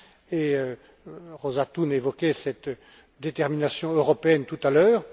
Et Róża Thun évoquait cette détermination européenne tout à l'heure.